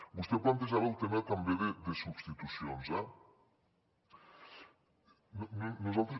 vostè plantejava el tema també de substitucions eh nosaltres